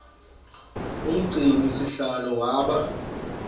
umgcini sihlalo waba